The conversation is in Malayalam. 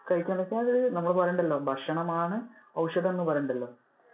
കഴിക്കന്നൊക്കെഅത്~ നമ്മൾ പറയുന്നുണ്ടല്ലോ ഭക്ഷണം ആണ് ഔഷധം എന്ന് പറയുന്നുണ്ടല്ലോ.